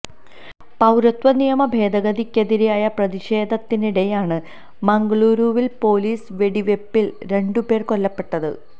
പൌരത്വ നിയമ ഭേദഗതിക്കെതിരായ പ്രതിഷേധത്തിനിടെയാണ് മംഗളൂരുവില് പോലീസ് വെടിവെപ്പില് രണ്ടുപേര് കൊല്ലപ്പെട്ടത്